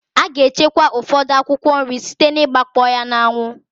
A ga-echekwa ụfọdụ akwụkwọ nri site n'igbakpọ ya n'anwụ.